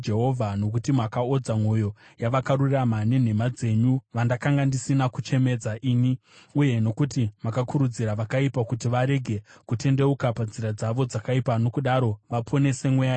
Nokuti makaodza mwoyo yavakarurama nenhema dzenyu, vandakanga ndisina kuchemedza ini, uye nokuti makakurudzira vakaipa kuti varege kutendeuka panzira dzavo dzakaipa nokudaro vaponese mweya yavo,